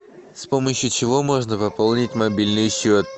с помощью чего можно пополнить мобильный счет